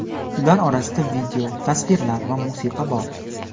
Ular orasida video, tasvirlar va musiqa bor.